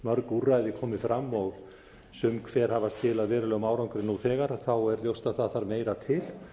mörg úrræði komið fram og sum hver hafi skilað verulegum árangri nú þegar er ljóst að það þarf meira til